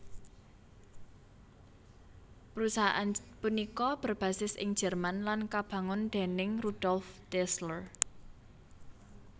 Perusahaan punika berbasis ing Jerman lan kabangun déning Rudolf Dassler